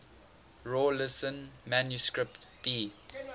rawlinson manuscript b